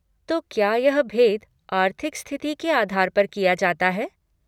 तो क्या यह भेद आर्थिक स्थिति के आधार पर किया जाता है?